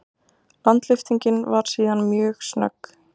Landlyftingin var síðan mjög snögg.